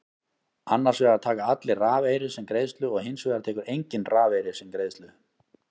Annars vegar taka allir rafeyri sem greiðslu og hins vegar tekur enginn rafeyri sem greiðslu.